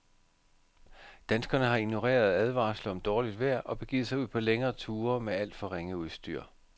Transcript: Danskerne har ignoreret advarsler om dårligt vejr og begivet sig ud på længere ture med alt for ringe udstyr.